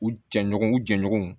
U jɛɲɔgɔnw u jɛɲɔgɔnw